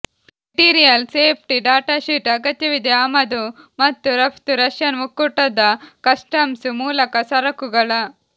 material safety data sheet ಅಗತ್ಯವಿದೆ ಆಮದು ಮತ್ತು ರಫ್ತು ರಷ್ಯನ್ ಒಕ್ಕೂಟದ ಕಸ್ಟಮ್ಸ್ ಮೂಲಕ ಸರಕುಗಳ